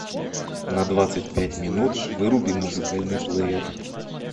на двадцать пять минут выруби музыкальный плеер